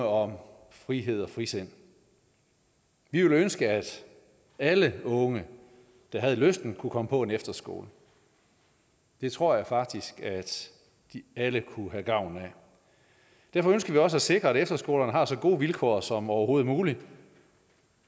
om frihed og frisind vi ville ønske at alle unge der havde lysten kunne komme på en efterskole det tror jeg faktisk at alle kunne have gavn af derfor ønsker vi også at sikre at efterskolerne har så gode vilkår som overhovedet muligt